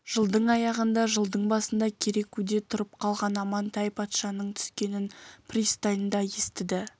жылдың аяғында жылдың басында керекуде тұрып қалған амантай патшаның түскенін пристаньда естіді